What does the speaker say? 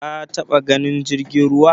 Ka taba ganin jirgin ruwa?